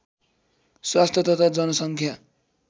स्वास्थ्य तथा जनसङ्ख्या